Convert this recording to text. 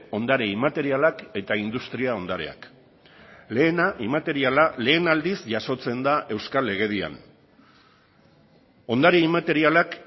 ondare inmaterialak eta industria ondareak lehena inmateriala lehen aldiz jasotzen da euskal legedian ondare inmaterialak